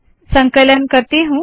संकलन करती हूँ